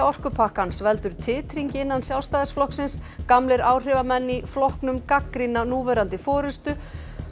orkupakkans veldur titringi innan Sjálfstæðisflokksins gamlir áhrifamenn í flokknum gagnrýna núverandi forystu